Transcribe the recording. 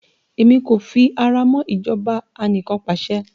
Èmi kò fi ara mọ́ ìjọba anikanpasẹ̀